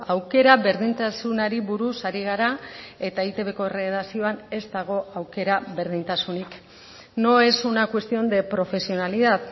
aukera berdintasunari buruz ari gara eta eitbko erredakzioan ez dago aukera berdintasunik no es una cuestión de profesionalidad